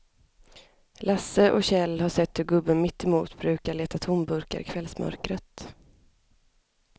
Lasse och Kjell har sett hur gubben mittemot brukar leta tomburkar i kvällsmörkret.